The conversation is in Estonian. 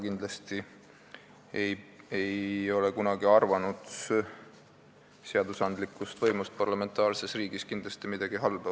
Ma ei ole kindlasti kunagi seadusandlikust võimust parlamentaarses riigis midagi halba arvanud.